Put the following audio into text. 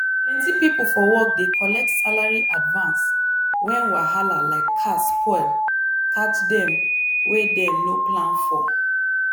plenty people for work dey collect salary advance when wahala like car spoil catch dem wey dem no plan for.